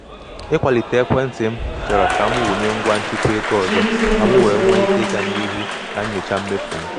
ịkwalite ekwentị m chọrọ ka m wụnye ngwa nchịkwa ego ọzọ ka m wee nwee ike ịga n’ihu na-enyocha mmefu m.